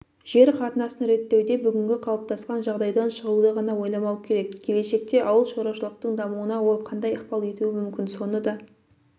жер қатынасын реттеуде бүгінгі қалыптасқан жағдайдан шығуды ғана ойламау керек келешекте ауыл шаруашылықтың дамуына ол қандай ықпал етуі мүмкін соны да